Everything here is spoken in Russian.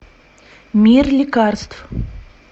мир лекарств